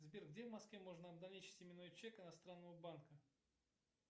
сбер где в москве можно обналичить именной чек иностранного банка